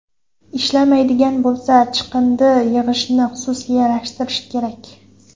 Ishlamaydigan bo‘lsa, chiqindi yig‘ishni xususiylashtirish kerak.